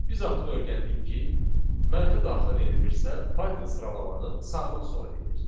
Biz artıq öyrəndik ki, mənfi daxil edilirsə, Python sıralamanı sağdan sola edir.